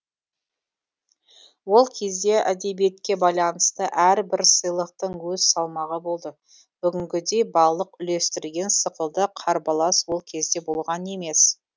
ол кезде әдебиетке байланысты әрбір сыйлықтың өз салмағы болды бүгінгідей балық үлестірген сықылды қарбалас ол кезде болған емес